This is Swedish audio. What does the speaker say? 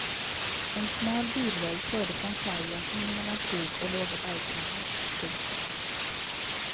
En smal bilväg förde från kajen in mellan skog och låga bergknallar. punkt